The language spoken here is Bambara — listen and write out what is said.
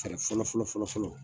Tɛkɛrɛ fɔlɔ fɔlɔ fɔlɔ fɔlɔ